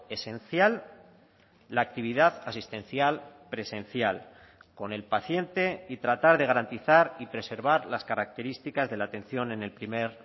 esencial la actividad asistencial presencial con el paciente y tratar de garantizar y preservar las características de la atención en el primer